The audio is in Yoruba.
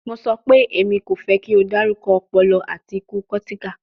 Mo sọ pe, Emi ko fẹ ki o darukọ ọpọlọ ati iku cortical